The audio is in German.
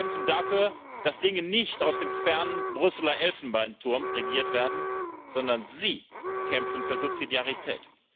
Sie kämpfen dafür, dass Dinge nicht aus dem fernen Brüsseler Elfenbeinturm regiert werden, sondern sie kämpfen für Subsidiarität.